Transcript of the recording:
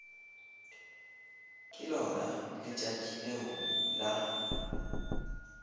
ke lona letšatši leo la